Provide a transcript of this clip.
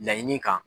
Laɲini kan